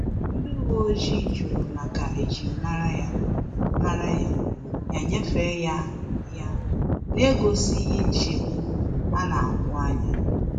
Ndị uwe ojii jụrụ maka ejim mara ya, mara ya, ya nyefee ha ya n'egosighi nchegbu a na-ahu anya